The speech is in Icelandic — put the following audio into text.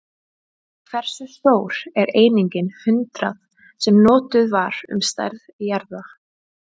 Hversu stór er einingin hundrað, sem notuð var um stærð jarða?